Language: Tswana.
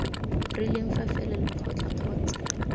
rileng fa fela lekgotla kgotsa